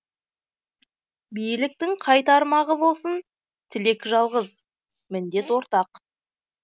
биліктің қай тармағы болсын тілек жалғыз міндет ортақ